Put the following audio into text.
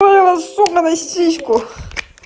сука на сиську